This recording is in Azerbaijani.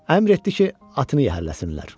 Əmr etdi ki, atını yəhərləsinlər.